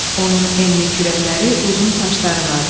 Onun enli kürəkləri, uzun saçları vardı.